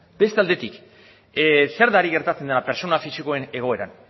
beste aldetik zer da ari gertatzen dena pertsona fisikoen egoeran